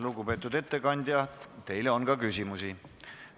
Lugupeetud ettekandja, teile on ka küsimusi.